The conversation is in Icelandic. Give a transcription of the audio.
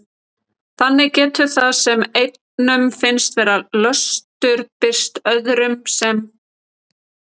Þannig getur það sem einum finnst vera löstur birst öðrum sem dyggð.